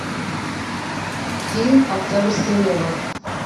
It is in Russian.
фильм октябрьское небо